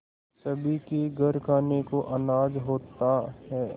सभी के घर खाने को अनाज होता है